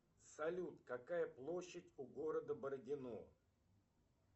салют какая площадь у города бородино